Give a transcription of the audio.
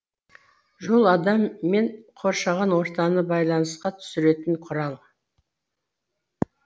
жол адам мен қоршаған ортаны байланысқа түсіретін құрал